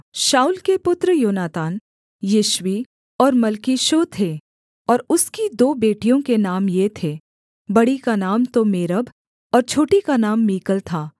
शाऊल के पुत्र योनातान यिश्वी और मल्कीशूअ थे और उसकी दो बेटियों के नाम ये थे बड़ी का नाम तो मेरब और छोटी का नाम मीकल था